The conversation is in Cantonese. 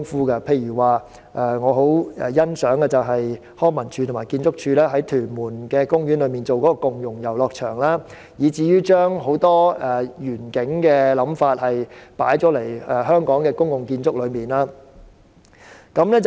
舉例來說，我十分欣賞康樂及文化事務署和建築署在屯門公園興建了一個共融遊樂場，將很多願景和想法加入香港的公共建築。